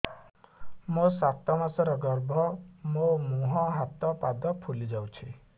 ମୋ ସାତ ମାସର ଗର୍ଭ ମୋ ମୁହଁ ହାତ ପାଦ ଫୁଲି ଯାଉଛି